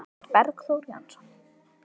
eftir Bergþór Jónsson